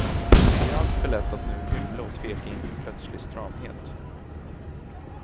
Det är alltför lätt att nu hymla och tveka inför plötslig stramhet.